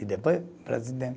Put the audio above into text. E depois o Brasil tem